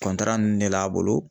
ninnu de l'a bolo